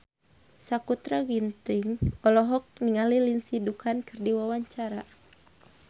Sakutra Ginting olohok ningali Lindsay Ducan keur diwawancara